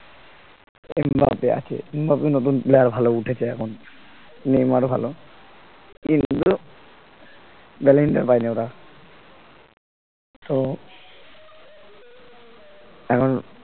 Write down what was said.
Mbappe আছে Mbappe নতুন player ভালো উঠেছে এখন নেইমার ও ভাল ballon dor পাইনি ওরা তো এখন